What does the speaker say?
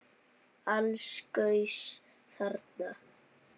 Alls gaus þarna